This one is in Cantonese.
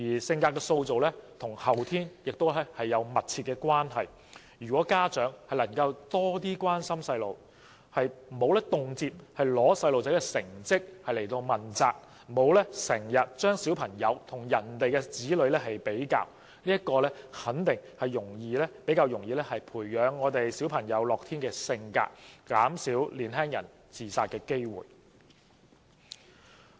性格的塑造與後天也有密切關係，如果家長能夠多點關心小朋友，不會經常因成績欠佳而責罵子女，或將自己的子女與別人的子女比較，肯定能夠較易培養子女的樂天性格，間接減低年輕人自殺的機會。